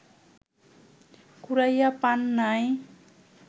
কুড়াইয়া পান নাই